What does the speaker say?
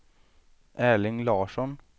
Erling Larsson